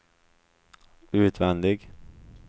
utvändig